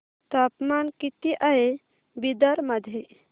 तापमान किती आहे बिदर मध्ये